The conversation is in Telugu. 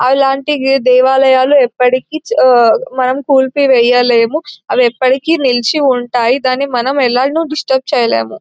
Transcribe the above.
అవి అలాంటివి దేవాలయాలు ఎప్పటికీ మనము నిలిపి వేయలేము అవి ఎప్పటికీ నిలిచి ఉంటాయి మనము ఎలా ను డిస్టర్బ్ చేయలేము.